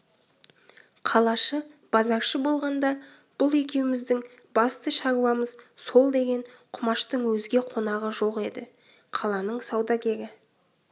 қалашы базаршы болғанда бұл екеуміздің басты шаруамыз сол деген құмаштың өзге қонағы жоқ еді қаланың саудагері